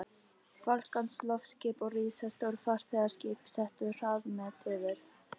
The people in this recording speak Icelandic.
Fálkans, loftskip og risastór farþegaskip settu hraðamet yfir